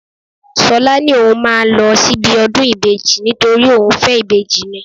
Ṣọlá ní òun máa ń lọ síbi ọdún ìbejì nítorí òun fẹ́ ìbejì ni